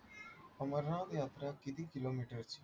अमरनाथयात्रा किती kilometer ची आहे?